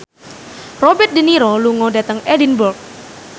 Robert de Niro lunga dhateng Edinburgh